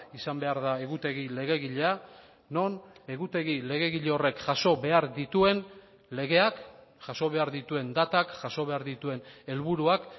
izan behar da egutegi legegilea non egutegi legegile horrek jaso behar dituen legeak jaso behar dituen datak jaso behar dituen helburuak